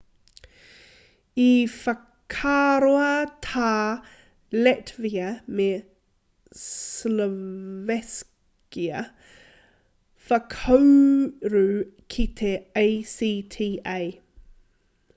i whakaroa tā latvia me slovakia whakauru ki te acta